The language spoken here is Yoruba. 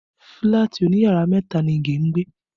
Fílàtì òní yàrá mẹ́ta ni Ige ń gbé